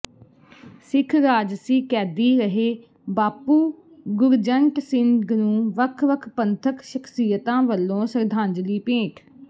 ਸਿੱਖ ਰਾਜਸੀ ਕੈਦੀ ਰਹੇ ਬਾਪੂ ਗੁਰਜੰਟ ਸਿੰਘ ਨੂੰ ਵੱਖ ਵੱਖ ਪੰਥਕ ਸ਼ਖ਼ਸੀਅਤਾਂ ਵੱਲੋਂ ਸ਼ਰਧਾਂਜਲੀ ਭੇਟ